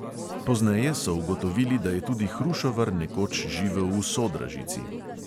Pozneje so ugotovili, da je tudi hrušovar nekoč živel v sodražici.